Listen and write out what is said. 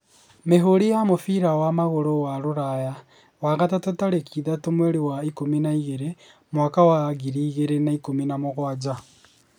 Mĩhũri ya mũbira wa magũrũ wa Rũraya ,wagatatu tarĩki ithathatũ mweri wa ikũmi na igĩrĩ mwaka wa ngiri igĩrĩ na ikũmi na mũgwanja